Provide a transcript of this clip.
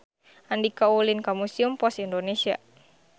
Andika ulin ka Museum Pos Indonesia